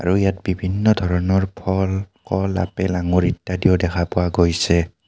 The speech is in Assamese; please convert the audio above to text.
আৰু ইয়াত বিভিন্ন ধৰণৰ ফল কল আপেল আঙুৰ ইত্যাদিও দেখা পোৱা গৈছে।